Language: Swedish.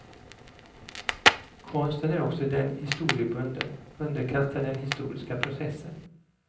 Konsten är också den historiebunden, underkastad den historiska processen.